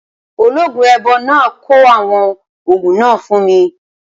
Ológun èèbó náà kọ àwọn ògùn náà fún mi